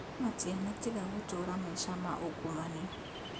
No matianatiga gũtũũra maica ma ungumania